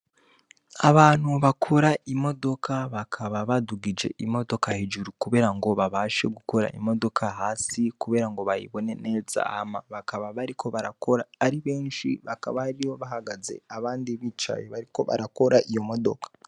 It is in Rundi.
Abantu bakora imodoka bakaba badugije imodoka hejuru, kubera ngo babashe gukora imodoka hasi, kubera ngo bayibone neza ama bakaba bariko barakora ari benshi bakaba ari yo bahagaze abandi bicaye bariko barakora iyo modoka.